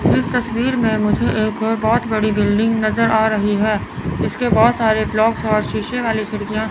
इस तस्वीर में मुझे एक बहोत बड़ी बिल्डिंग नजर आ रही है जिसके बहोत सारे ब्लोक्स और शीशे वाली खिड़कियां--